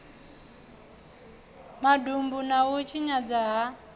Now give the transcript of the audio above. madumbu na u tshinyadzwa ha